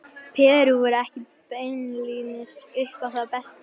Perú voru ekki beinlínis upp á það besta.